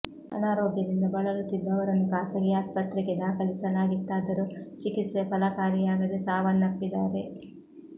ಅನಾರೋಗ್ಯದಿಂದ ಬಳಲುತ್ತಿದ್ದ ಅವರನ್ನು ಖಾಸಗಿ ಆಸ್ಪತ್ರೆಗೆ ದಾಖಲಿಸಲಾಗಿತ್ತಾದರೂ ಚಿಕಿತ್ಸೆ ಫಲಕಾರಿಯಾಗದೆ ಸಾವನ್ನಪ್ಪಿದ್ದಾರೆ